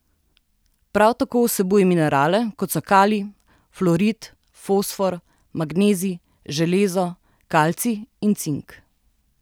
Prav tako vsebujejo minerale, kot so kalij, fluorid, fosfor, magnezij, železo, kalcij in cink.